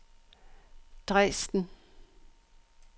Dresden